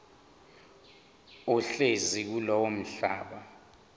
ohlezi kulowo mhlaba